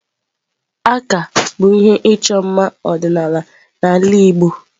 Akà bụ ihe ịchọ mma ọdịnala n'ala igbo.